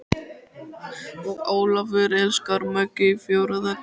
Og Ólafur elskar Möggu í fjórða Té.